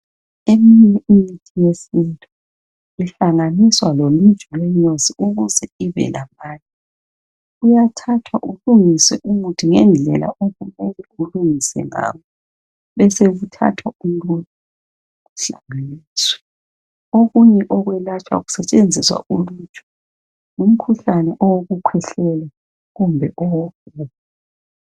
iminye imithi yesintu ihlanganiswa loluju lwenyosi ukuze ibelamandla uyathathwa ulungiswe umuthi ngendlela okumele ulungiswe ngayo kube sokuthathwa uluju luhlanganiswe, okunye okwelatshwa kusebenzisa uluju ngumkhuhlane owokukhwehlela, kumbe owefulu.